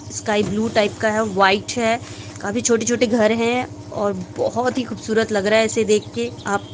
sky blue type का है और व्हाइट है काफी छोटे-छोटे घर है और बहुत ही खूबसूरत लग रहा है इसे देख के आप --